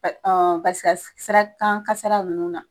Paseke siraba kan kasara nunnu na.